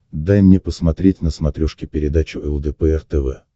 дай мне посмотреть на смотрешке передачу лдпр тв